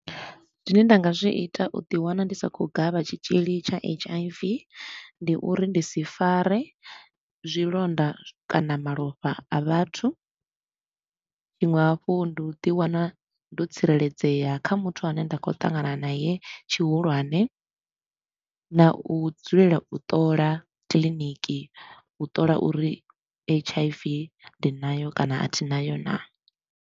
Zwine nda nga zwi ita u ḓi wana ndi sa khou gavha tshitshili tsha H_I_V ndi uri ndi si fare zwilonda kana malofha a vhathu. Tshiṅwe hafhu ndi u ḓi wana ndo tsireledzea kha muthu a ne nda khou ṱangana naye tshihulwane na u dzulela u ṱola kiḽiniki, u ṱola uri H_I_V ndi nayo kana a thi nayo naa.